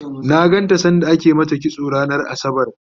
na ganta sanda ake mata kitso ranar asabar